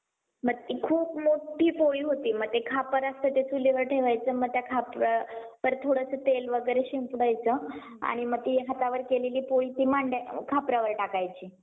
insurance ची सुविधाही दिली जाते प्रवास सेवा म्हणल्यानंतर प्रवासात सामान हरवल्यास किंवा चोरीला गेल्यास व कोणत्याही प्रकारचे आरोग्य समस्या असल्यास वैद्यकीय सुविधा दिली जाते